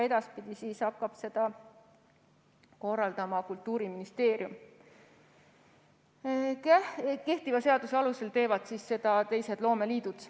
Edaspidi hakkab seda korraldama Kultuuriministeerium, kehtiva seaduse alusel teevad seda loomeliidud.